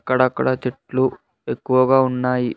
అక్కడక్కడ చెట్లు ఎక్కువగా ఉన్నాయి.